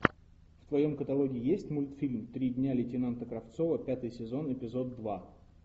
в твоем каталоге есть мультфильм три дня лейтенанта кравцова пятый сезон эпизод два